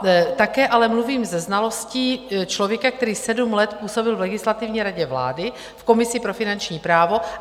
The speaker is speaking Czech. Také ale mluvím se znalostí člověka, který sedm let působil v Legislativní radě vlády, v komisi pro finanční právo.